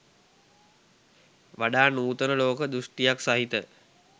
වඩා නූතන ලෝක දෘෂ්ටියක් සහිත